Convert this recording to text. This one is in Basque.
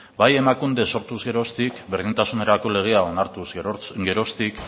bai emakunde sortuz geroztik berdintasunerako legea onartuz geroztik